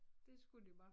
Det skulle de bare